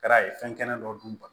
Kɛra fɛn kɛnɛ dɔ dun